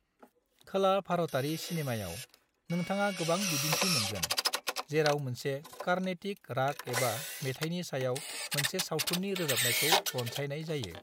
खोला भारतारि सिनेमाआव, नोंथाङा गोबां बिदिन्थि मोनगोन, जेराव मोनसे कार्नेटिक राग एबा मेथाइनि सायाव मोनसे सावथुननि रोजाबनायखौ रनसायनाय जायो।